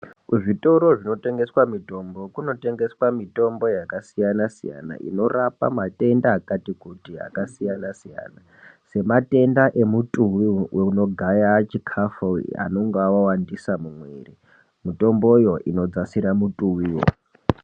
Ku zvitoro zvino tengeswa mitombo kuno tengeswa mitombo yaka siyana siyana inorapa matenda akati kuti aka siyana siyana se matenda e mutuwi uno gaya chikafu anonga awandisa mu mwiri mitombo yo ino dzasira mutuwi wo.